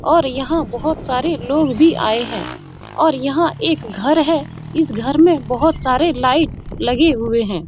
और यहाँ बहुत सारे लोग भी आये हैं और यहाँ एक घर है इस घर में बहुत सारे लाइट लगे हुए हैं।